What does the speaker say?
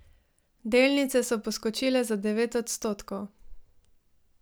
Delnice so poskočile za devet odstotkov.